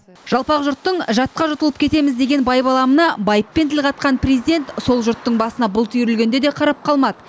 жалпақ жұрттың жатқа жұтылып кетеміз деген байбаламына байыппен тіл қатқан президент сол жұрттың басына бұлт үйірілгенде де қарап қалмады